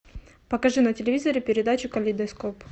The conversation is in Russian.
покажи на телевизоре передачу калейдоскоп